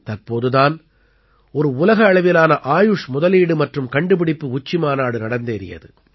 தற்போது தான் ஒரு உலக அளவிலான ஆயுஷ் முதலீடு மற்றும் கண்டுபிடிப்பு உச்சிமாநாடு நடந்தேறியது